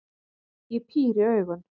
Ég píri augun.